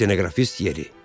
Stenoqrafist yeri.